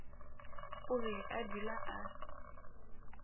o be a dula a